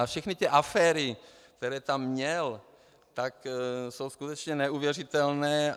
A všechny ty aféry, které tam měl, tak jsou skutečně neuvěřitelné.